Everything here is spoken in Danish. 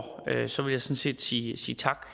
vil jeg sådan set sige tak